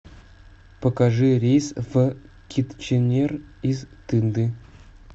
покажи рейс в китченер из тынды